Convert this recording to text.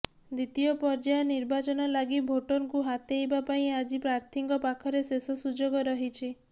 ଦ୍ୱିତୀୟ ପର୍ଯ୍ୟାୟ ନିର୍ବାଚନ ଲାଗି ଭୋଟରଙ୍କୁ ହାତେଇବା ପାଇଁ ଆଜି ପ୍ରାର୍ଥୀଙ୍କ ପାଖରେ ଶେଷ ସୁଯୋଗ ରହିଛି